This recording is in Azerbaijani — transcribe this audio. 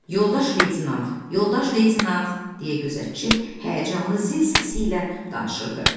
Yoldaş Leytenant, Yoldaş Leytenant, deyə gözətçi həyəcanlı zil səsi ilə danışırdı.